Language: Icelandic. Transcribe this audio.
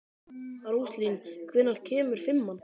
Róslín, hvenær kemur fimman?